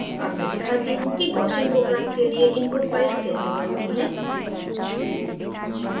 अब मैं दिखाती how कि gaussian program के लिए input file कैसे बनती हैं